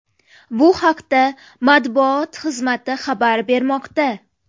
Bu haqda matbuot xizmati xabar bermoqda .